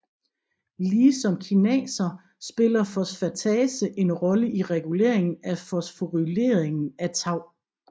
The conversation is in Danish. Lige som kinaser spiller fosfatase en rolle i reguleringen af fosforyleringen af tau